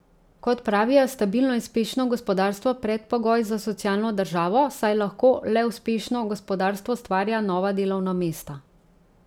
Kot pravijo, je stabilno in uspešno gospodarstvo predpogoj za socialno državo, saj lahko le uspešno gospodarstvo ustvarja nova delovna mesta.